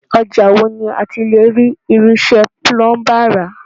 Ọjà wo ni a ti le rí irinṣẹ́ Púlúmbà ra?